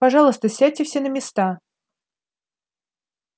пожалуйста сядьте все на места